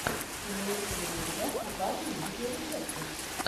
имеется ли у тебя угарные видеорецепты